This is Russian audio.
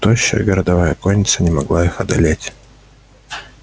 тощая городовая конница не могла их одолеть